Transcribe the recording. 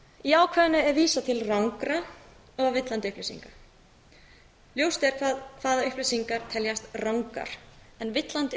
í ákvæðinu er vísað til rangra og villandi upplýsinga ljóst er hvaða upplýsingar teljast rangar en villandi